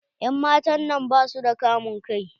En matan nan basu da kamun kai.